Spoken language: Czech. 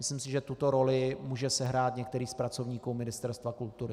Myslím si, že tuto roli může sehrát některý z pracovníků Ministerstva kultury.